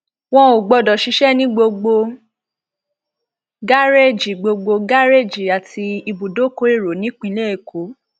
wọn ò gbọdọ ṣiṣẹ ní gbogbo gàréèjì gbogbo gàréèjì àti ibùdókọ èrò nípínlẹ èkó